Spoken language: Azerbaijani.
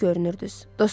Gülünc görünürdünüz.